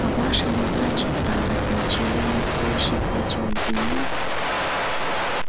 по-вашему значит тара ничего не стоящий клочок земли